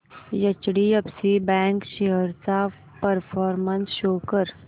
HDFC bank shares चा performance show कर